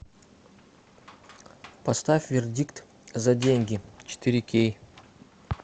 поставь вердикт за деньги четыре кей